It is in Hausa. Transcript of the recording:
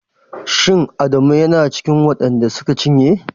Shin Adamu yana cikin waɗan da suka cinye?